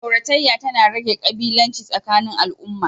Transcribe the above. Auratayya tana rage ƙabilanci tsakanin al'umma.